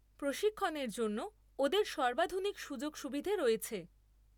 প্রশিক্ষণের জন্য ওদের সর্বাধুনিক সুযোগ সুবিধে রয়েছে।